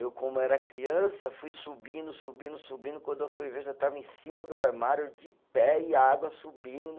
Eu como era criança fui subindo, subindo, subindo, quando eu fui ver já estava em cima do armário de pé e a água subindo.